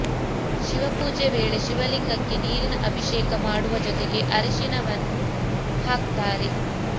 ಶಿವಪೂಜೆ ವೇಳೆ ಶಿವಲಿಂಗಕ್ಕೆ ನೀರಿನ ಅಭಿಷೇಕ ಮಾಡುವ ಜೊತೆಗೆ ಅರಿಶಿನವನ್ನು ಹಾಕ್ತಾರೆ